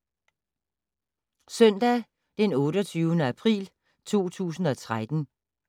Søndag d. 28. april 2013